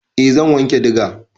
Eh zan wanke diga.